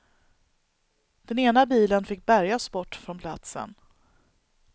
Den ena bilen fick bärgas bort från platsen.